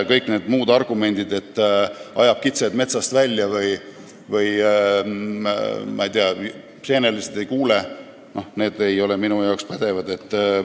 Kõik need muud argumendid, et ajab kitsed metsast välja või, ma ei tea, seenelised ei kuule, ei ole minu arust pädevad.